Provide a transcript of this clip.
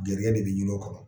Gɛrijigɛ de bɛ ɲini o kɔnɔ.